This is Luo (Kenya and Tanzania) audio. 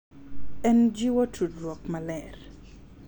En jiwo tudruok maler.